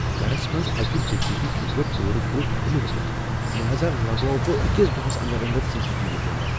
گرس منٛز اَکہ ڈکیتی چُھس بہٕ پورٕ پٲٹھۍ ہلوومت، لہذا لگاو بہ أکس دۄہس اندر اندر C C T V camera.